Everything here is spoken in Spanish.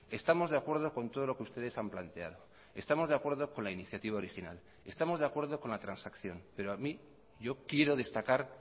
estamos de acuerdo con todo lo que ustedes han planteado estamos de acuerdo con la iniciativa original estamos de acuerdo con la transacción pero a mí yo quiero destacar